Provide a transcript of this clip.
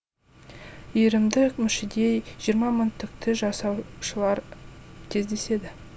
иірімді мүшеде жиырма мың түкті жасаушалар кездеседі